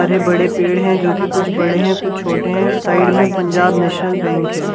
सारे बड़े पेड़ हैं जो कि कुछ बड़े हैं कुछ छोटे हैं साइड में पंजाब नेशनल बैंक है ।